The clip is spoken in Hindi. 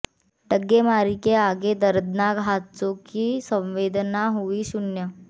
डग्गेमारी के आगे दर्दनाक हादसों की संवेदना हुई शून्य